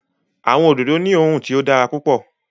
Awọn ododo ni oòrùn tí o dára pupọ